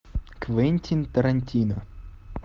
квентин тарантино